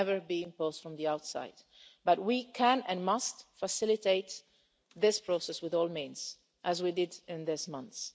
It can never be imposed from the outside, but we can, and must, facilitate this process with all means available, as we did in these months.